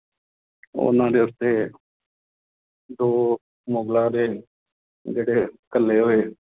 ਉਹਨਾਂ ਦੇ ਉੱਤੇ ਦੋ ਮੁਗਲਾਂ ਦੇ ਜਿਹੜੇ ਘੱਲੇ ਹੋਏ